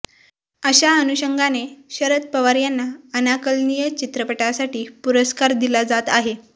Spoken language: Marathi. अशा अनुषंगाने शरद पवार यांना अनाकलनीय चित्रपटासाठी पुरस्कर दिला जात आहे